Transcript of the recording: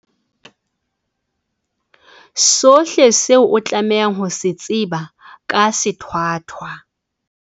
Sohle seo o tlamehang ho se tseba ka sethwathwa.